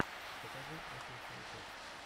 покажи эппл хай тэк